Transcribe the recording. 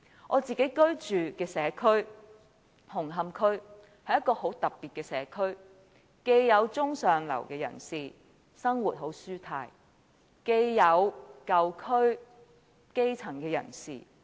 我自己居住的社區紅磡區，是一個很特別的社區，區內既有中上流人士，生活舒泰，又有舊區的基層人士。